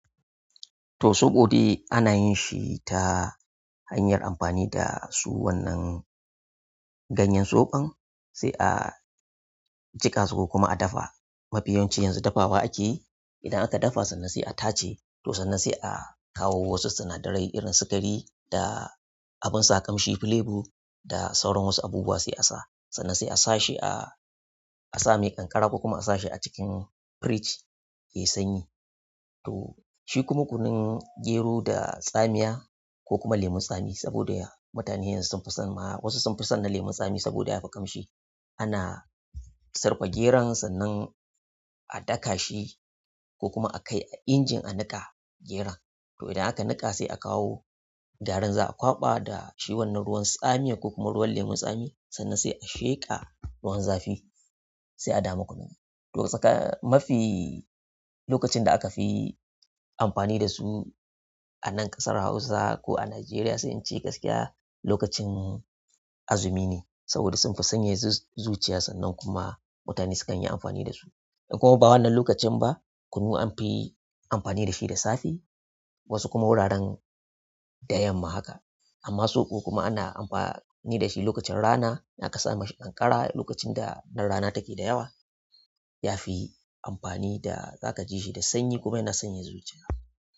To soɓo dai ana yin shi ta hanyar amfani da su wannan ganyen soɓon sai a jiƙa su ko kuma a dafa. Mafi yawancin yanzu dafawa ake idan aka dafa sannan sai a tace. To sannan sai a kawo wasu sinadarai irin sikari da abin sa kamshi flabo da sauran wasu abubuwa sai a sa. Sannan sai a sa shi a, a sa mai ƙanƙara ko kuma a sa shi a cikin firij yayi sanyi. To shi kuma kunun gero da tsamiya ko kuma lemun tsami saboda mutane yanzu sun fi son ma wasu sun fi son na lemun tsami saboda ya fi kamshi. Ana sarƙa geron sannan a daka shi ko kuma a kai a injin a niƙa geron. To idan aka niƙa sai a kawo garin za a kwaɓa da shi wannan ruwan tsamiya ko kuma ruwan lemun tsami sannan sai a sheƙa ruwan zafi sai a damu kunu. To mafi lokacin da aka fi amfani dasu a nan ƙasar Hausa ko a Najeriya sai in ce gaskiya lokacin azumi ne saboda sun fi sanya zuciya sannan kuma mutane sukan yi amfani da su. In kuma ba wannan lokacin ba kunu anfi amfani da shi da safe wasu kuma wuraren da yamma haka. Amma soɓo kuma ana amfani da shi lokacin rana idan aka sa masa ƙanƙara lokacin da ranar rana take da yawa yafi amfani da za ka ji shi da sanyi kuma yana sanyaya zuciya.